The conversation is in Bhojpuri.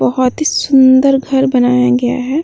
बहुत ही सुन्दर घर बनाया गया है।